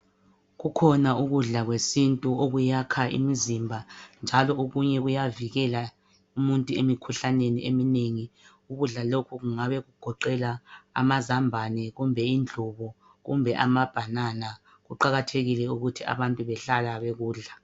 Kukhona ukudla kwesintu okuyakha imizimba njalo okunye kuyavikela umuntu emikhuhlaneni eminengi. Ukudla lokhu kungabe kuqoqela amazambane kumbe indlubu kumbe amabhanana. Kuqakathekile ukuthi abantu behlala bekudla.